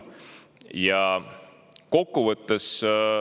Ja kokkuvõtteks.